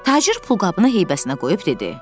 Tacir pulqabını heybəsinə qoyub dedi: